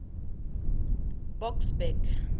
boksburg